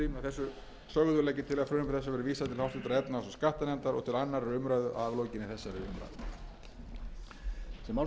þessu verði vísað til háttvirtrar efnahags og skattanefndar og til annarrar umræðu að aflokinni þessari umræðu